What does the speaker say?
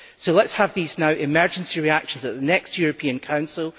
So let us have now these emergency reactions at the next European Council